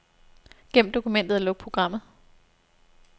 Gem dokumentet og luk programmet.